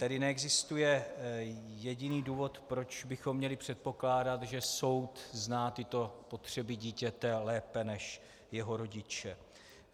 Tedy neexistuje jediný důvod, proč bychom měli předpokládat, že soud zná tyto potřeby dítěte lépe než jeho rodiče.